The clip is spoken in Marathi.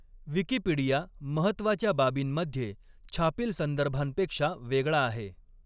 विकिपीडिया महत्त्वाच्या बाबींमध्ये छापील संदर्भांपेक्षा वेगळा आहे.